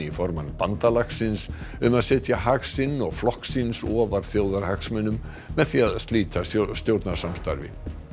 formann bandalagsins um að setja hag sinn og flokks síns ofar þjóðarhagsmunum með því að slíta stjórnarsamstarfi